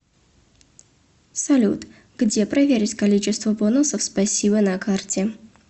салют где проверить количество бонусов спасибо на карте